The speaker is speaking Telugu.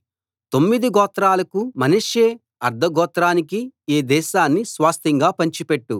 తొమ్మిది గోత్రాలకు మనష్షే అర్థ గోత్రానికి ఈ దేశాన్ని స్వాస్థ్యంగా పంచిపెట్టు